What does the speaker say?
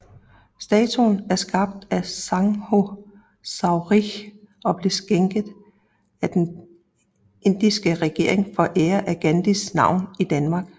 Statuen er skabt af Sankho Chaudhri og blev skænket af den indiske regering for at ære Gandhis navn i Danmark